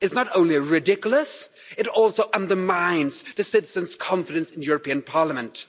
is not only ridiculous, it also undermines citizens' confidence in the European Parliament.